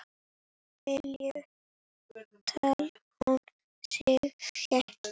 Vel ég tel hún syngi.